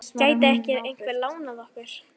Gæti ekki einhver lánað okkur?